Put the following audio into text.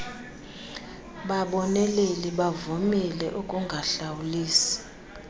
baboneleli bavumile ukungahlawulisi